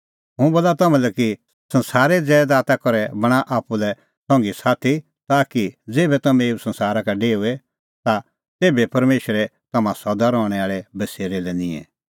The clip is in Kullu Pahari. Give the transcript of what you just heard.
हुंह बोला तम्हां लै कि संसारे ज़ैदाता करै बणांआ आप्पू लै संघीसाथी ताकि ज़ेभै तम्हैं एऊ संसारा का डेओए ता तेभै परमेशर तम्हां सदा रहणैं आल़ै बसेरै लै निंए